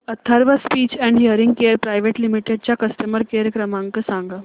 Atharva speech and hearing care private limited चा customer care क्रमांक सांगा